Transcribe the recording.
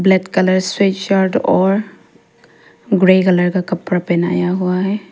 Black colour से shirt और grey colour का कपड़ा पहनाया हुआ है।